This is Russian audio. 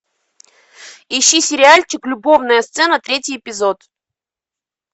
ищи сериальчик любовная сцена третий эпизод